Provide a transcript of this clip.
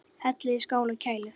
Hellið í skál og kælið.